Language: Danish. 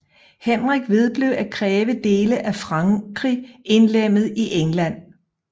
Henrik vedblev at kræve dele af Frankrig indlemmet i England